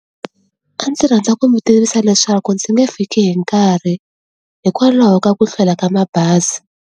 A ndzi rhandza ku mi tivisa leswaku ndzi nge fiki hi nkarhi hikwalaho ka ku hlwela ka mabazi.